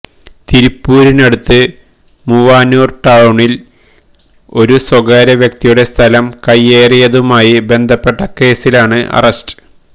തിരുപ്പൂരിനടുത്ത് മൂവാനൂര് ടൌണില് ഒരു സ്വാകാര്യ വ്യക്തിയുടെ സ്ഥലം കയ്യേറിയതുമായി ബന്ധപ്പെട്ട കേസിലാണ് അറസ്റ്റ്